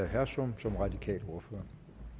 hersom som radikal ordfører